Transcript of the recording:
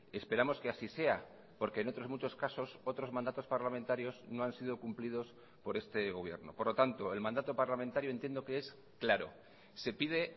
esperamos que así sea porque en otros muchos casos otros mandatos parlamentarios no han sido cumplidos por este gobierno por lo tanto el mandato parlamentario entiendo que es claro se pide